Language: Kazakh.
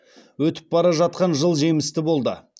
өтіп бара жатқан жыл жемісті болды